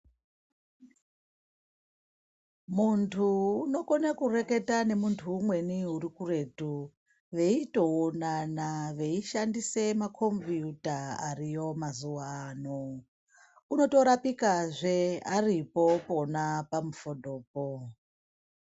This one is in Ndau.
Muntu unokone kurwketa nemuntu umweni uri kuretu veitoonana veishandise makombiyuta ariyo mazuwa ano unotorapikazve aripo pona pamufodhopo.